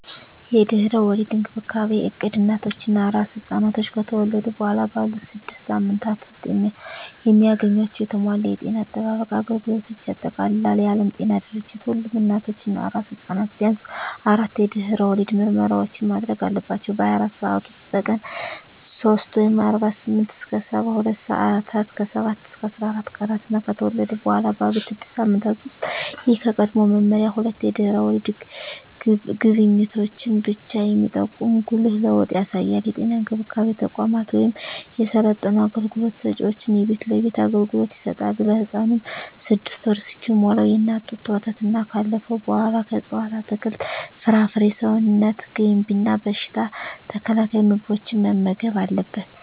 የድህረ ወሊድ እንክብካቤ እቅድ እናቶች እና አራስ ሕፃናት ከተወለዱ በኋላ ባሉት ስድስት ሳምንታት ውስጥ የሚያገኟቸውን የተሟላ የጤና አጠባበቅ አገልግሎቶችን ያጠቃልላል። የዓለም ጤና ድርጅት ሁሉም እናቶች እና አራስ ሕፃናት ቢያንስ አራት የድህረ ወሊድ ምርመራዎችን ማድረግ አለባቸው - በ24 ሰዓት ውስጥ፣ በቀን 3 (48-72 ሰአታት)፣ ከ7-14 ቀናት እና ከተወለዱ በኋላ ባሉት 6 ሳምንታት ውስጥ። ይህ ከቀድሞው መመሪያ ሁለት የድህረ ወሊድ ጉብኝቶችን ብቻ የሚጠቁም ጉልህ ለውጥ ያሳያል። የጤና እንክብካቤ ተቋማት ወይም የሰለጠኑ አገልግሎት ሰጭዎች የቤት ለቤት አገልግሎት ይሰጣሉ። ለህፃኑም 6ወር እስኪሞላው የእናት ጡት ወተትና ካለፈው በኃላ ከእፅዋት አትክልት፣ ፍራፍሬ ሰውነት ገንቢ እና በሽታ ተከላካይ ምግቦችን መመገብ አለብን